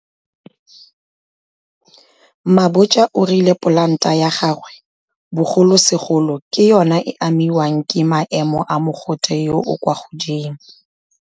Mabotja o rile polanta ya gagwe, bogolosegolo, ke yona e e amiwang ke maemo a mogote yo o kwa godimo.